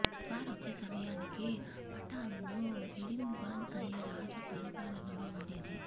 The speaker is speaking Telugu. వారొచ్చే సమయానికి పటాన్ ను హిడింబ్వన్ అనే రాజు పలిపాలనలో ఉండేది